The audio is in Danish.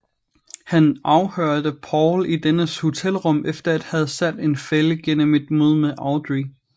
Han afhørte Paul i dennes hotelrum efter at have sat en fælde gennem et møde med Audrey